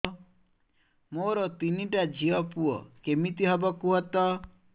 ମୋର ତିନିଟା ଝିଅ ପୁଅ କେମିତି ହବ କୁହତ